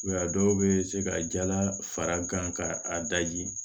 a dɔw bɛ se ka jala fara gan ka a daji